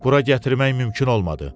Bura gətirmək mümkün olmadı.